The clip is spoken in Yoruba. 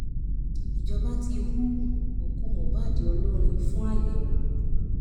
ìjọba ti hu òkú mohbad olórin fún àyẹwò